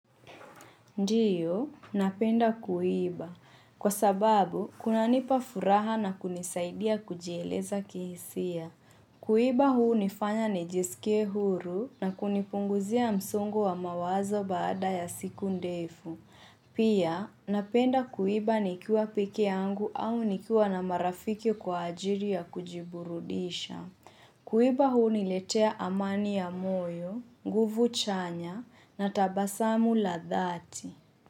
Ndio, napenda kuimba. Kwa sababu, kunanipa furaha na kunisaidia kujieleza kihisia. Kuimba hunifanya nijisikie huru na kunipunguzia msongo wa mawazo baada ya siku ndefu. Pia, napenda kuimba nikiwa peke yangu au nikiwa na marafiki kwa ajili ya kujiburudisha. Kuiba huniletea amani ya moyo, nguvu chanya na tabasamu la dhati.